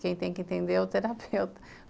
Quem tem que entender é o terapeuta.